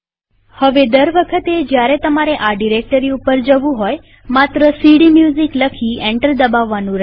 હવે દર વખતે જયારે તમારે આ ડિરેક્ટરી ઉપર જવું હોય માત્ર સીડીમ્યુઝિક લખી એન્ટર દબાવવાનું રહેશે